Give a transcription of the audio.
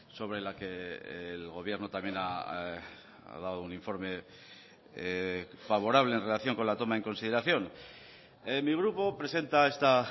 sobre la que el gobierno también ha dado un informe favorable en relación con la toma en consideración mi grupo presenta esta